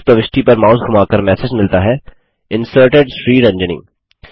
इस प्रविष्टि पर माउस धुमाकर मैसेज मिलता है Inserted श्रीरंजनी